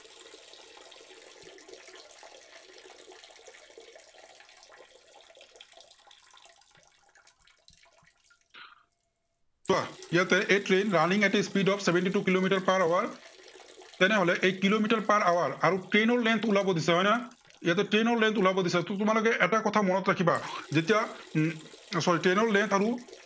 ইয়াতে এই a train running of the speed of kilometre per hour তেনেহলে এই কিলোমিটাৰ per hour আৰু train ৰ length ওলাব দিছে, হয় নহয়? ইয়াতে train ৰ length ওলাব দিছে। ত' তোমালোকে এটা কথা মনত ৰাখিবা। যেতিয়া উম sorry, train ৰ length আৰু